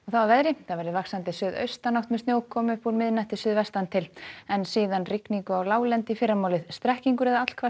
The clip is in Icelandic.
að veðri að veðri vaxandi suðaustanátt með snjókomu upp úr miðnætti suðvestan til en síðan rigningu á láglendi í fyrramálið strekkingur eða